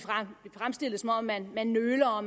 fremstillet som om man man nøler og